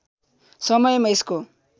समयमा यसको